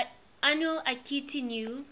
annual akitu new